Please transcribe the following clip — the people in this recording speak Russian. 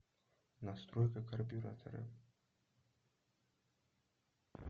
настройка карбюратора